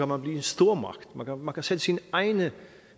man blive en stormagt man kan sætte sine egne